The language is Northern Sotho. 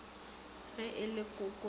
ge e le koko ba